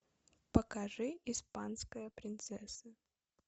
покажи испанская принцесса